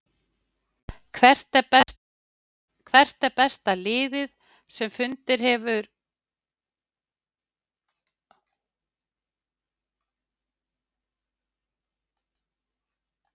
Hvert er besta liðið sem hefur fallið úr efstu deild karla á Íslandi?